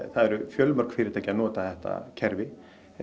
það eru fjölmörg fyrirtæki að nota þetta kerfi